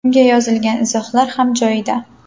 Unga yozilgan izohlar ham joyida.